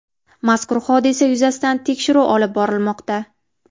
Mazkur hodisa yuzasidan tekshiruv olib borilmoqda.